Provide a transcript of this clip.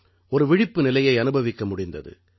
ஒரு விழிப்பு நிலையை அனுபவிக்க முடிந்தது